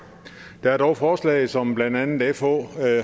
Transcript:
der er dog forslag som blandt andet fh